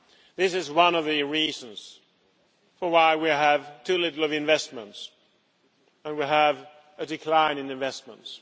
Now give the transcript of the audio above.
This is one of the reasons why we have too little investment and we have a decline in investments.